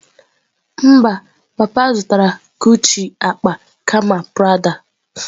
Mba, papa zụtara Guchi akpa kama Prada.